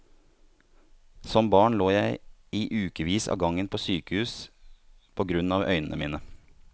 Som barn lå jeg i ukevis av gangen på sykehus på grunn av øynene mine.